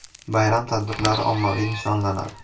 Bayram tadbirlari ommaviy nishonlamadi.